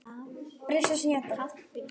Það myndi grípa fólk.